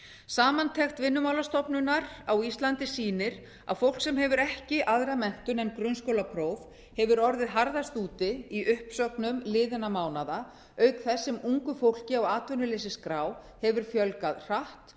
samantekt vinnumálastofnunar á íslandi sýnir að fólk sem hefur ekki aðra menntun en grunnskólapróf hefur orðið harðast úti í uppsögnum liðinna mánaða auk þess sem ungu fólki á atvinnuleysisskráhefur fjölgað hratt